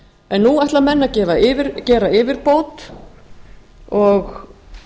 en nú ætla menn að gera yfirbót og